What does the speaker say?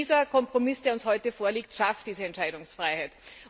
Dieser Kompromiss, der uns heute vorliegt, schafft diese Entscheidungsfreiheit.